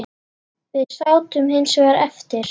Við sátum hins vegar eftir.